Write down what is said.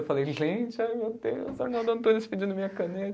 Eu falei, gente, ai meu Deus, Arnaldo Antunes pedindo minha caneta.